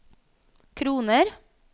kroner